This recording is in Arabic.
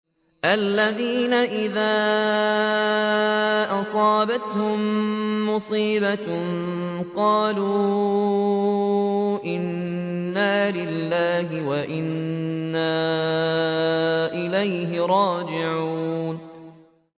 الَّذِينَ إِذَا أَصَابَتْهُم مُّصِيبَةٌ قَالُوا إِنَّا لِلَّهِ وَإِنَّا إِلَيْهِ رَاجِعُونَ